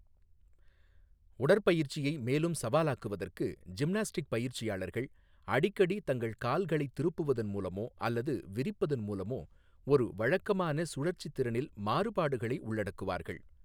உடற்பயிற்சியை மேலும் சவாலாக்குவதற்கு, ஜிம்னாஸ்டிக்ஸ் பயிற்சியாளர்கள் அடிக்கடி தங்கள் கால்களைத் திருப்புவதன் மூலமோ அல்லது விரிப்பதன் மூலமோ ஒரு வழக்கமான சுழற்சி திறனில் மாறுபாடுகளை உள்ளடக்குவார்கள்.